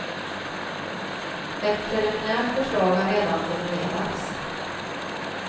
Ett preliminärt förslag har redan formulerats.